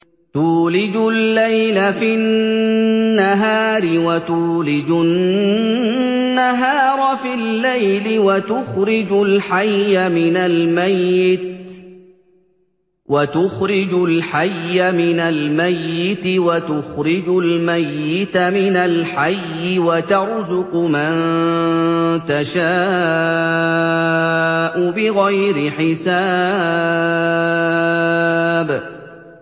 تُولِجُ اللَّيْلَ فِي النَّهَارِ وَتُولِجُ النَّهَارَ فِي اللَّيْلِ ۖ وَتُخْرِجُ الْحَيَّ مِنَ الْمَيِّتِ وَتُخْرِجُ الْمَيِّتَ مِنَ الْحَيِّ ۖ وَتَرْزُقُ مَن تَشَاءُ بِغَيْرِ حِسَابٍ